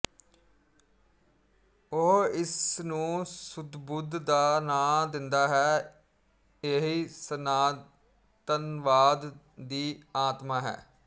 ਉਹ ਇਸ ਨੂੰ ਸੁੱਧਬੁੱਧ ਦਾ ਨਾਂ ਦਿੰਦਾ ਹੈ ਇਹੀ ਸਨਾਤਨਵਾਦ ਦੀ ਆਤਮਾ ਹੈ